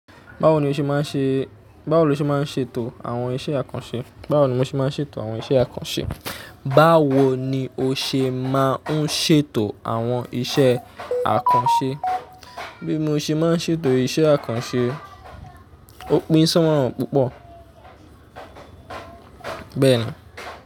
Báwo lo ṣe máa ń ṣètò àwọn iṣẹ́ àkànṣe? Báwo ni mo ṣe máa ń ṣètò àwọn iṣẹ́ àkànṣe? Báwo ni o ṣe máa ń ṣètò àwọn iṣẹ́ àkànṣe? Bí mo ṣe máa ń ṣètò iṣẹ́ àkànṣe, òpin sí wọn púpọ̀. Bẹ́ẹ̀ni.